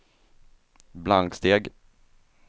blanksteg